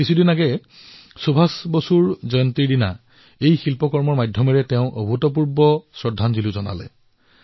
কিছুদিনৰ পূৰ্বে সুভাষ বাবুৰ জয়ন্তীত ভাগ্যশ্ৰীয়ে পাথৰত তেওঁলৈ অতুলনীয় শ্ৰদ্ধাঞ্জলি জ্ঞাপন কৰিছে